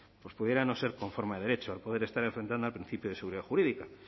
pues pudiera no ser conforme a derecho el poder estar enfrentando al principio de seguridad jurídica